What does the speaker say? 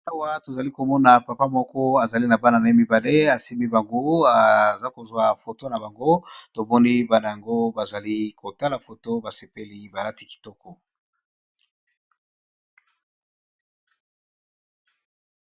anawa tozali komona papa moko azali na bana na ye mibale asimi bangu aza kozwa foto na bango tomoni bana yango bazali kotala foto basepeli balati kitoko